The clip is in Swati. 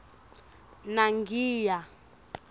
nangiya